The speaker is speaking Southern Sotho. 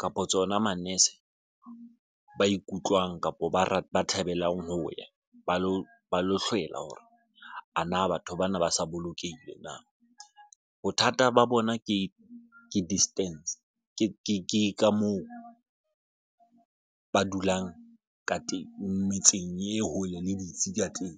kapo tsona manese ba ikutlwang kapo ba ba thabelang ho ya ba lo hlwela hore a na batho bana ba sa bolokehile na? Bothata ba bona ke distance ke ka moo ba dulang ka teng metseng e hole le ditsi ka teng.